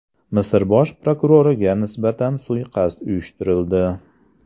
Misr bosh prokuroriga nisbatan suiqasd uyushtirildi.